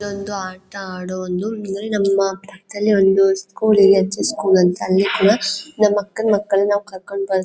ಇದು ಒಂದು ಆಟ ಆಡುವುದು ಇವರೇ ನಮ್ಮ್ ಪಕ್ಕದಲ್ಲೇ ಒಂದ್ ಸ್ಕೂಲ್ ಇದೆ ಹೆಚ್ ಯಸ್ ಸ್ಕೂಲ್ ಅಂತ ಅಲ್ಲಿ ಕೂಡ ನಮ ಅಕ್ಕನ ಮಕ್ಕಳುನ ನಾವು ಕರ್ಕೊಂಡ್--